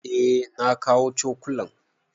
Eh na kawo cokulan.